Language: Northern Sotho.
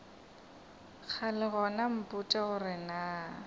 kgale gona mpotše gore na